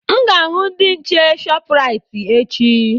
Aga m ahụ ndị nche Shọpraịt echi.